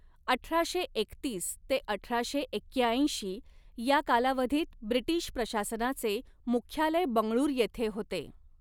अठराशे एकतीस ते अठराशे एक्याऐंशी या कालावधीत ब्रिटिश प्रशासनाचे मुख्यालय बंगळूर येथे होते.